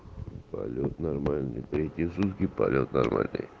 полет нормальный третьи сутки полет нормальный